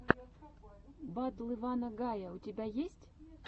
батл ивана гая у тебя есть